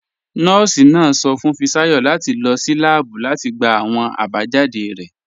Nọọ̀sì náà sọ̀ fún Fisayo láti lọ́ sí làábù láti gbà awọn abajáde rẹ̀.